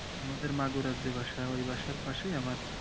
আমাদের মাগুরাতে বাসা ওই বাসার পাশে আমার